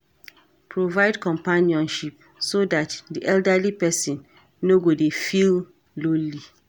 Provide Companionship so dat di elderly person no go dy feel lonely